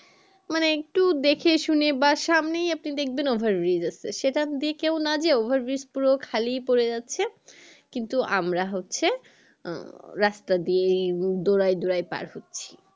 মানে একটু দেখে শুনে বা সামনেই আপনি দেখবেন over bridge আছে সেখান দিয়ে কেও না যেয়ে over bridge পুরো খালি পরে যাচ্ছে কিন্ত আমরা হচ্ছে উম রাস্তা দিয়ে দৌড়াই দৌড়াই পার হচ্ছি